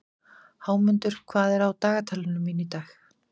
Hámundur, hvað er á dagatalinu mínu í dag?